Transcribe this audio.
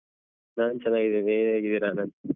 ನಾನ್ ಚೆನ್ನಾಗಿದ್ಧೇನೆ ನೀವು ಹೇಗಿದ್ದೀರಾ ಆನಂದ್?